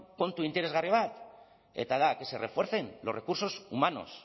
puntu interesgarri bat eta da que se refuercen los recursos humanos